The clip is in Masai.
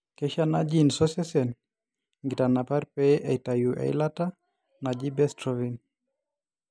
keisho ena gene osesen inkitanapat pee eitayu eilata naji bestrophin.